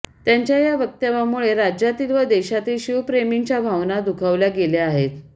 त्यांच्या या वक्तव्यामुळे राज्यातील व देशातील शिवप्रेमींच्या भावना दुखावल्या गेल्या आहेत